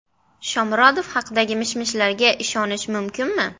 Shomurodov haqidagi mish-mishlarga ishonish mumkinmi?